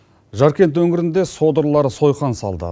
жаркент өңірінде содырлар сойқан салды